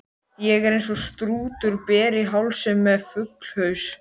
Ég er eins og strútur, ber í hálsinn með fuglshaus.